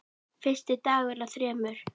Fyrsti dagur af þremur.